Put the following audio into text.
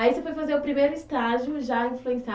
Aí você foi fazer o primeiro estágio já